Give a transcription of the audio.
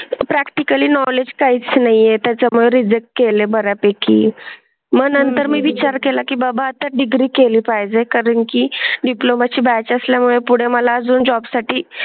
Practical knowledge काहीस नाही ये. त्याच्या रिजेक्ट केले बर् यापैकी मग नंतर मी विचार केला की बाबा चा डिग्री केली पाहिजे कारण की डिप्लोमा ची बॅच असल्यामुळे पुढे मला अजून जॉब साठी.